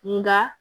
Nka